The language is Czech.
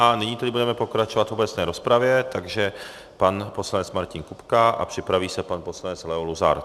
A nyní tedy budeme pokračovat v obecné rozpravě, takže pan poslanec Martin Kupka a připraví se pan poslanec Leo Luzar.